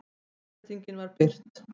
Leiðréttingin var birt